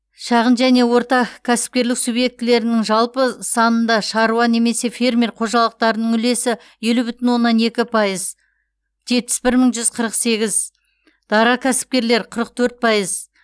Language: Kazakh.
шағын және орта кәсіпкерлік субъектілерінің жалпы санында шаруа немесе фермер қожалықтарының үлесі елу бүтін оннан екі пайыз жетпіс бір мың жүз қырық сегіз дара кәсіпкерлер қырық төрт пайыз